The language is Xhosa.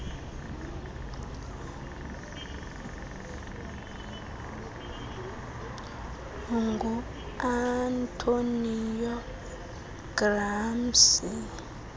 ngu antonio gramsci